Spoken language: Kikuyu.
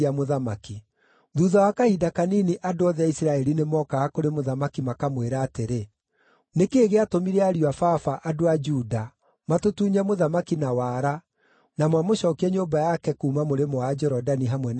Thuutha wa kahinda kanini andũ othe a Isiraeli nĩmookaga kũrĩ mũthamaki makamwĩra atĩrĩ, “Nĩ kĩĩ gĩatũmire ariũ a baba, andũ a Juda, matũtunye mũthamaki na wara, na mamũcookie nyũmba yake kuuma mũrĩmo wa Jorodani, hamwe na andũ ake othe?”